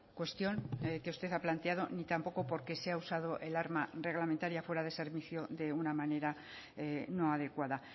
cuestión que usted ha planteado ni tampoco porque se ha usado el arma reglamentaria fuera de servicio de una manera no adecuada